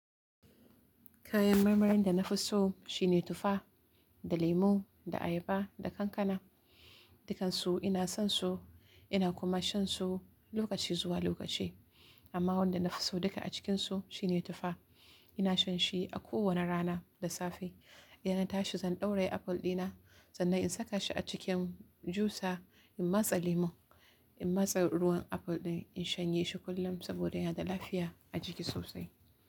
Kayan marmarin da na fi so shine tufa da lemu da ayaba da kankana. Dukansu ina son su, ina kuma shan su lokaci zuwa lokaci. Amma wanda na fi so a cikinsu shine tufa. Ina shan shi a kowane rana da safe. Idan na tashi zan ɗauraye aful ɗina sannan in saka shi a cikin jusa in masa lemun, in masa ruwan aful ɗin, in shanye shi kullum saboda yana da lafiya a jiki sosai.